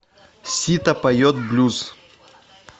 сито поет блюз